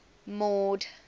mord